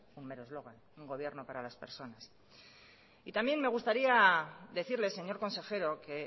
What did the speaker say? un mero eslogan un gobierno para las personas y también me gustaría decirle señor consejero que